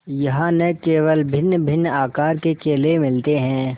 यहाँ न केवल भिन्नभिन्न आकार के केले मिलते हैं